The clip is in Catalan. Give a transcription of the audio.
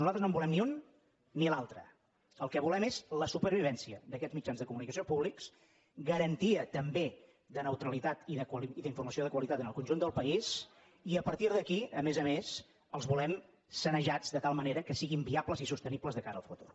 nosaltres no en volem ni un ni l’altre el que volem és la supervivència d’aquests mitjans de comunicació públics garantia també de neutralitat i d’informació de qualitat en el conjunt del país i a partir d’aquí a més a més els volem sanejats de tal manera que siguin viables i sostenibles de cara al futur